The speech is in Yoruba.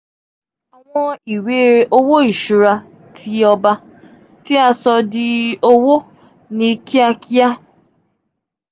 awọn iwe-owo iṣura ti ọba; ti a so di owo ni kiakia um three.